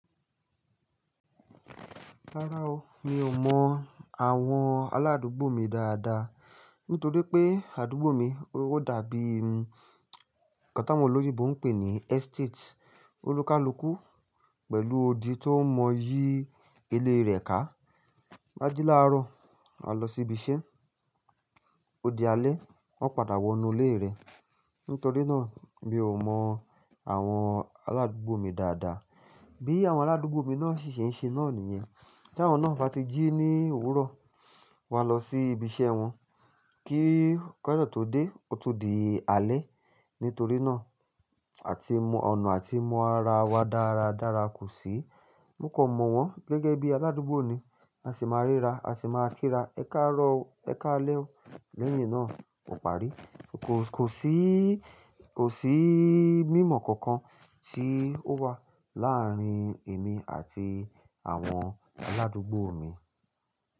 Rárá o, mi ò mọ àwọn aládùúgbò mi dáadáa nítorí pé àdúgbò mi ó dàbí nǹkan tí àwọn olóyinbo ń pè ní estate. Olúkalùkù pẹ̀lú odi tó ń mọ yí ilé rẹ̀ ká. Maji láàárọ̀, mà lọ sí ibi iṣẹ́, ó di alẹ́, wọ́n padà wọnú ilé rẹ̀. Nítorí náà mi ò mọ àwọn aládùúgbò mi dáadáa. Bí àwọn aládùúgbò mi náà ṣì ṣe ń ṣe náà nìyẹn. Tí àwọn náà bá ti jí ní òwúrọ̀, wà lọ sí ibi iṣẹ́ wọn, kí kán de tó dé, ó tun di alẹ́. Nítorí náà àti mọ ọ̀nà àti mọ ara wa dáradára kò sí. Mo kò mọ̀ wọ́n gẹ́gẹ́ bí aládùúgbò ni, a sì máa ríra, a sì máa kíra "Ẹ káàárọ̀ o, ẹ káalẹ́ o" lẹ́yìn náà ò parí. Kò sí, kò sí mímọ̀ kankan tí ó wà láàárín èmi àti àwọn aládùúgbò mi.